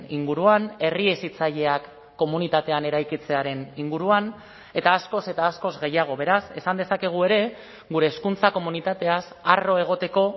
inguruan herri hezitzaileak komunitatean eraikitzearen inguruan eta askoz eta askoz gehiago beraz esan dezakegu ere gure hezkuntza komunitateaz harro egoteko